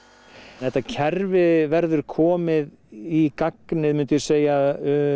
þetta kerfi verður komið í gagnið myndi ég segja